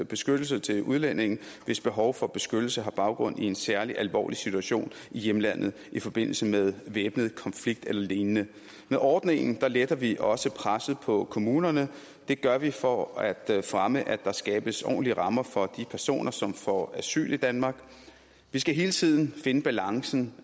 beskyttelse til udlændinge hvis behov for beskyttelse har baggrund i en særlig alvorlig situation i hjemlandet i forbindelse med væbnet konflikt eller lignende med ordningen letter vi også presset på kommunerne det gør vi for at fremme at der skabes ordentlige rammer for de personer som får asyl i danmark vi skal hele tiden finde balancen